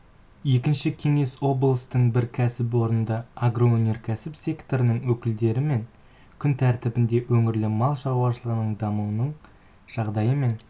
екінші кеңес облыстың бір кәсіпорнында агроөнеркәсіп секторының өкілдерімен күн тәртібінде өңірде мал шарушылығын дамытудың жағдайы мен